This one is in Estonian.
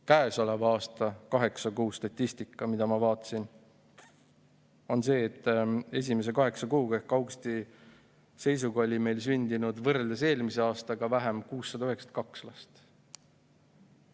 Käesoleva aasta kaheksa kuu statistika, mida ma vaatasin, on selline, et esimese kaheksa kuuga ehk augusti seisuga oli meil sündinud võrreldes eelmise aastaga 692 last vähem.